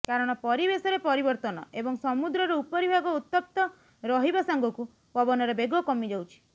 କାରଣ ପରିବେଶରେ ପରିବର୍ତ୍ତନ ଏବଂ ସମୁଦ୍ରର ଉପରିଭାଗ ଉତ୍ତପ୍ତ ରହିବା ସାଙ୍ଗକୁ ପବନର ବେଗ କମିଯାଉଛି